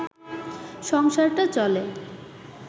সংসারটা চলে